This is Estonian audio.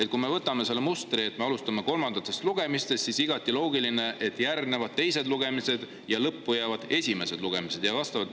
Ja kui me võtame selle mustri, et me alustame kolmandatest lugemistest, siis on igati loogiline, et järgnevad teised lugemised ja lõppu jäävad esimesed lugemised.